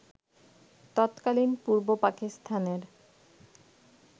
তৎকালীন পূর্ব পাকিস্তানের